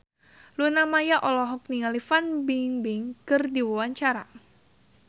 Luna Maya olohok ningali Fan Bingbing keur diwawancara